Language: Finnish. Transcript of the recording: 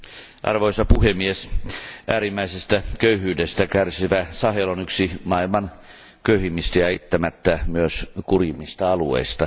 Arvoisa puhemies, äärimmäisestä köyhyydestä kärsivä Sahel on yksi maailman köyhimmistä ja eittämättä myös kurjimmista alueista.